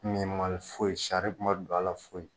Min m' hali foyi sari ma don ala foyi.